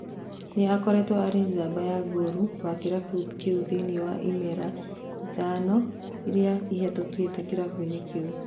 Nĩakoretwo arĩ njamba ya ngolu wa kĩrabu kĩu thĩinĩ wa iimera ithano iria ihetũkĩtwo kĩrabu-inĩ kĩu